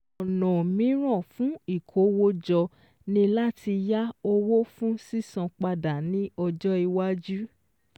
Ọ̀nà míràn fún ìkówójọ ni láti yá owó fún sísan padà ní ọjọ́ iwájú